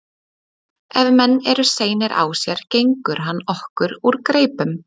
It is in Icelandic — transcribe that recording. Ef menn eru seinir á sér gengur hann okkur úr greipum.